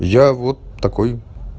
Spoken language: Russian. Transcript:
я вот такой